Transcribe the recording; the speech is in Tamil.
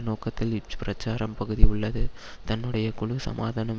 நோக்கத்தில் இப்பிரச்சாரப் பகுதி உள்ளது தன்னுடைய குழு சமாதானம்